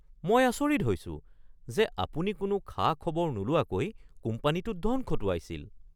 মই আচৰিত হৈছোঁ যে আপুনি কোনো খা-খবৰ নোলোৱাকৈ কোম্পানীটোত ধন খটুৱাইছিল।